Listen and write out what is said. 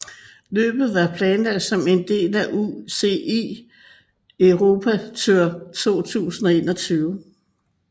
Løbet var planlagt som en del af UCI Europe Tour 2021